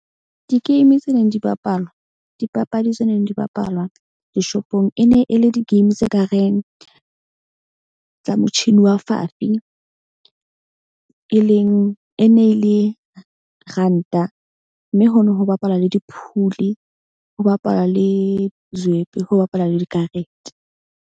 Di-game tse neng di bapalwa. Dipapadi tse neng di bapallwa di-shop-ong e ne e le di-game tse kareng tsa motjhini wa fafi. E leng e ne le ranta mme ho no ho bapala le di phuli, ho bapalwa le zwepe, ho bapalwa le dikarete.